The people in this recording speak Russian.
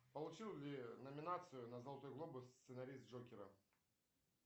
получил ли номинацию на золотой глобус сценарист джокера